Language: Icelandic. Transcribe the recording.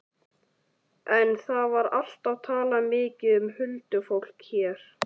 En það var alltaf talað mikið um huldufólk hér.